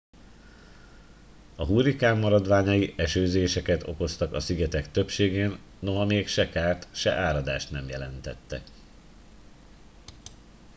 a hurrikán maradványai esőzéseket okoztak a szigetek többségén noha még se kárt se áradást nem jelentettek